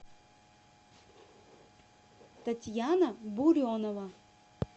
татьяна буренова